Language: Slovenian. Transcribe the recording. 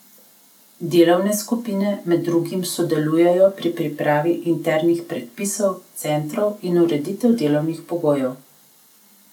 Delovne skupine med drugim sodelujejo pri pripravi internih predpisov centrov in ureditvi delovnih pogojev.